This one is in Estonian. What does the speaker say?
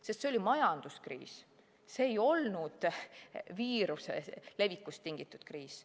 Sest see oli majanduskriis, see ei olnud viiruse levikust tingitud kriis.